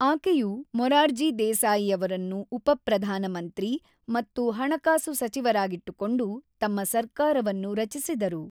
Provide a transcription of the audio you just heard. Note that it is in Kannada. ಆಕೆಯು ಮೊರಾರ್ಜಿ ದೇಸಾಯಿಯವರನ್ನು ಉಪ ಪ್ರಧಾನ ಮಂತ್ರಿ ಮತ್ತು ಹಣಕಾಸು ಸಚಿವರಾಗಿಟ್ಟುಕೊಂಡು ತಮ್ಮ ಸರ್ಕಾರವನ್ನು ರಚಿಸಿದರು.